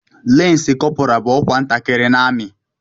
Lansi kọpura bú ọkwa ntakịrị n'amị